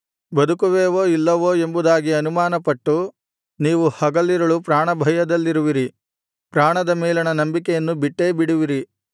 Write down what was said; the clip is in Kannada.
ಬದುಕುವೆವೋ ಇಲ್ಲವೋ ಎಂಬುದಾಗಿ ಅನುಮಾನಪಟ್ಟು ನೀವು ಹಗಲಿರುಳು ಪ್ರಾಣಭಯದಲ್ಲಿರುವಿರಿ ಪ್ರಾಣದ ಮೇಲಣ ನಂಬಿಕೆಯನ್ನು ಬಿಟ್ಟೇಬಿಡುವಿರಿ